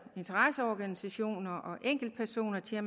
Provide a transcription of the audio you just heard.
interesseorganisationer og enkeltpersoner til at